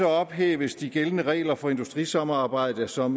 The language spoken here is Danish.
ophæves de gældende regler for industrisamarbejde som